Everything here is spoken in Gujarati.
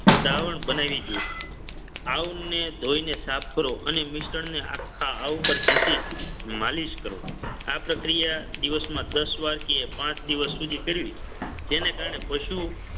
દ્રાવણ બનાવી ગયું. આવને ધોઈને સાફ કરો અને મિશ્રણને આખા આવ ઉપર ઘસી માલિશ કરો. આ પ્રક્રિયા દિવસમાં દસ વાર કે પાંચ દિવસ સુધી કરવી જેને કારણે પશુ